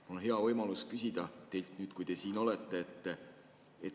Mul on hea võimalus küsida teilt nüüd, kui te siin olete.